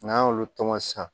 N'an y'olu tɔmɔ sisan